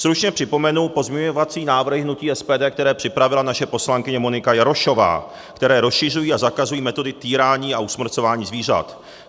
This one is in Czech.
Stručně připomenu pozměňovací návrhy hnutí SPD, které připravila naše poslankyně Monika Jarošová, které rozšiřují a zakazují metody týrání a usmrcování zvířat.